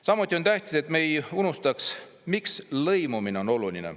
Samuti on tähtis, et me ei unustaks, miks lõimumine on oluline.